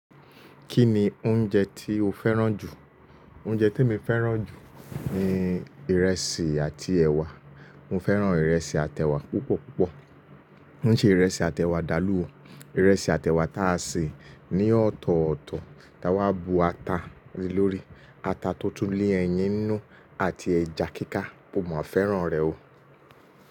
Kí ni oúnjẹ tí o fẹ́ràn jù? Oúnjẹ tí mo fẹ́ràn jù ni ìrẹsì àti ẹ̀wà. Mo fẹ́ràn ìrẹsì àti ẹ̀wà púpọ̀ púpọ̀. Kíṣe ìrẹsì àti ẹ̀wà dàlú ò. Ìrẹsì àti ẹ̀wà tá a sè ní ọ̀tọ̀ọ̀tọ̀ tá a wá bu ata le lórí, ata tó tú ni ẹyin ninú àti ẹja kíká, mo máa fẹ́ràn rẹ̀ o.